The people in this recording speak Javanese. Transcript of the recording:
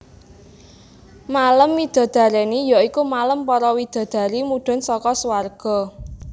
Malem midodareni ya iku malem para widadari mudhun saka suwarga